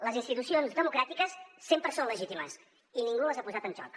les institucions democràtiques sempre són legítimes i ningú les ha posat en joc